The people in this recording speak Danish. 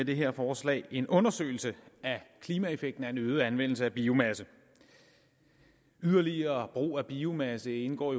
det her forslag en undersøgelse af klimaeffekten af en øget anvendelse af biomasse yderligere brug af biomasse indgår